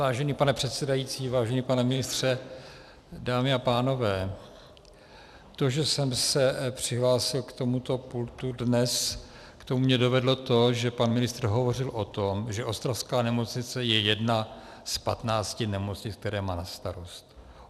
Vážený pane předsedající, vážený pane ministře, dámy a pánové, to, že jsem se přihlásil k tomuto pultu dnes, k tomu mě dovedlo to, že pan ministr hovořil o tom, že ostravská nemocnice je jedna z 15 nemocnic, které má na starost.